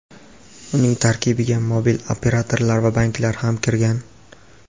Uning tarkibiga mobil operatorlar va banklar ham kirgan.